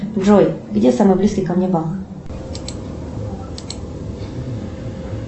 джой где самый близкий ко мне банк